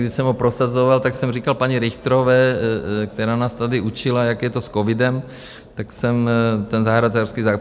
Když jsem ho prosazoval, tak jsem říkal paní Richterové, která nás tady učila, jak je to s covidem, tak jsem ten zahrádkářský zákon...